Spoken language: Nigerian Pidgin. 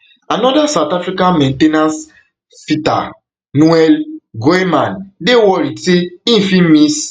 anoda south african main ten ance fitter noel goeieman dey worried say im fit miss